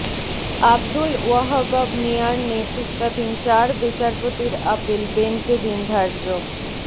আবদুল ওয়াহ্হাব মিঞার নেতৃত্বাধীন চার বিচারপতির আপিল বেঞ্চ এ দিন ধার্য